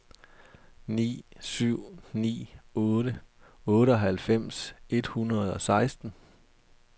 ni syv ni otte otteoghalvfems et hundrede og seksten